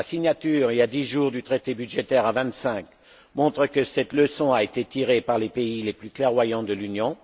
La signature, il y a deux jours, du traité budgétaire à vingt cinq montre que cette leçon a été tirée par les pays les plus clairvoyants de l'Union.